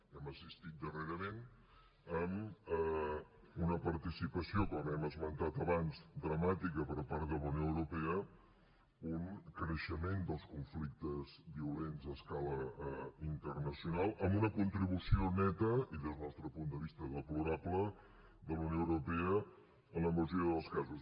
hem assistit darrerament amb una participació com hem esmentat abans dramàtica per part de la unió europea a un creixement dels conflictes violents a escala internacional amb una contribució neta i des del nostre punt de vista deplorable de la unió europea en la majoria dels casos